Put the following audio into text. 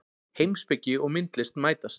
Heimspeki og myndlist mætast